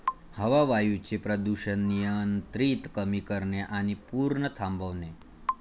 हवा, वायूचे प्रदूषण नियंत्रित, कमी करणे आणि पूर्ण थांबवणे